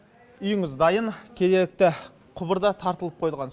үйіңіз дайын кенетті құбыр да тартылып қойылған